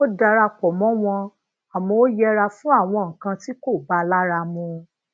ó dara pò mó wọn àmó ó yẹra fún àwọn nǹkan ti ko ba lara mu